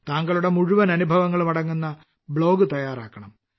താങ്കളുടെ മുഴുവൻ അനുഭവങ്ങളും അടങ്ങുന്ന ബ്ലോഗ് തയ്യാറാക്കണം